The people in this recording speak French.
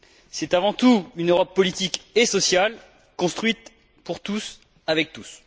C'est avant tout une Europe politique et sociale construite pour tous, avec tous.